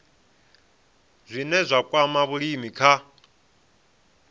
zwine zwa kwama vhulimi kha